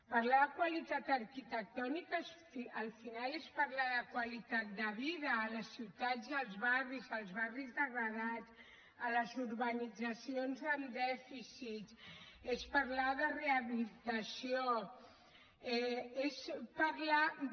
parlar de qualitat arquitectònica al final és parlar de qualitat de vida a les ciutats i als barris als barris degradats a les urbanitzacions amb dèficits es parlar de rehabilitació és parlar de